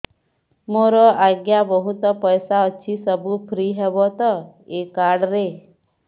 ମୋର ଆଜ୍ଞା ବହୁତ ପଇସା ଅଛି ସବୁ ଫ୍ରି ହବ ତ ଏ କାର୍ଡ ରେ